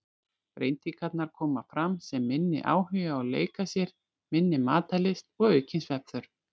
Breytingarnar koma fram sem minni áhugi á að leika sér, minni matarlyst og aukin svefnþörf.